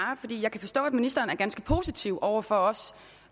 kan forstå at ministeren er ganske positiv over for også